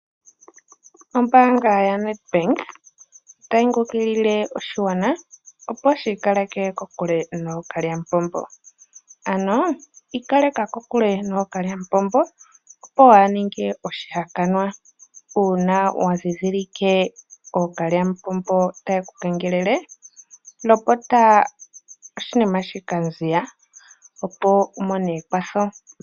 Ombaanga yaNedbank otayi kunkilile oshigwana opo shi ikaleke kokule nookalyamupombo. Ano ikaleka kokule nookalyamupombo opo waa ha ninge oshihakanwa. Uuna wa ndhindhilike ookalyamupombo taye ku kengelele, lopota oshinina shika mbala opo wu mone ekwatho.